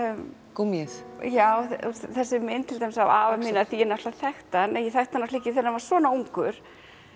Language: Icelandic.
gúmmíið já þessi mynd til dæmis af afa mínum af því að ég náttúrulega þekkti hann en ég þekkti hann ekki þegar hann var svona ungur